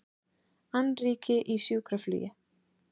Annríki í sjúkraflugi